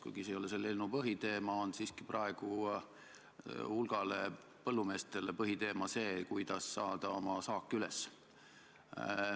See ei ole küll selle eelnõu põhiteema, aga praegu on siiski hulgale põllumeestele põhiteema see, kuidas oma saak kätte saada.